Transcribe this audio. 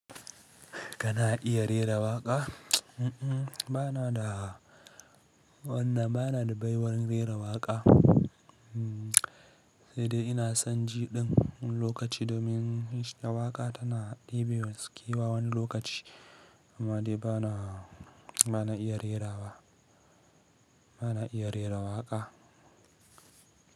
Kana iya rera waƙa? Banada wannan, banada baiwan rera waƙa. Sai dai ina son jiɗin wani lokaci domin shiɗa waƙa tana ɗibewa skiwa wani lokaci, amma dai bana, bana iya rera wa. Bana iya rera waƙa.